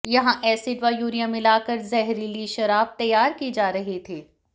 यहां एसिड व यूरिया मिलाकर जहरीली शराब तैयार की जा रही थी